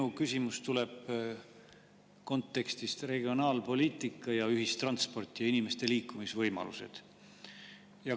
Minu küsimus tuleb regionaalpoliitika ja ühistranspordi ja inimeste liikumisvõimaluste kontekstist.